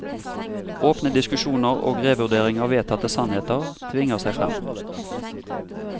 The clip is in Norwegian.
Åpne diskusjoner og revurdering av vedtatte sannheter tvinger seg frem.